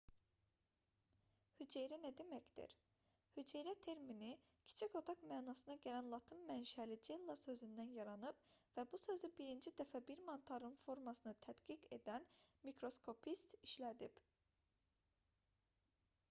hüceyrə nə deməkdir hüceyrə termini kiçik otaq mənasına gələn latın mənşəli cella sözündən yaranıb və bu sözü birinci dəfə bir mantarın formasını tədqiq edən mikroskopist işlədib